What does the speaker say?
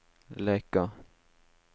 Leka